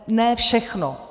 Ne všechno.